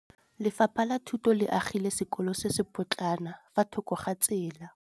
Lefapha la Thuto le agile sekôlô se se pôtlana fa thoko ga tsela.